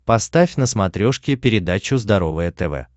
поставь на смотрешке передачу здоровое тв